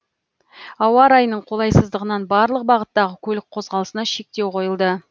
ауа райының қолайсыздығынан барлық бағыттағы көлік қозғалысына шектеу қойылды